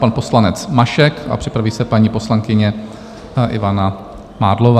Pan poslanec Mašek a připraví se paní poslankyně Ivana Mádlová.